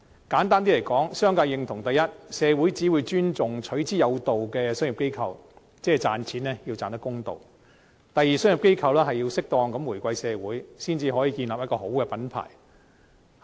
簡單來說，商界認同：第一，社會只會尊重取之有道的商業機構，即賺錢要賺得公道；第二，商業機構要適當地回饋社會，才可以建立一個良好品牌。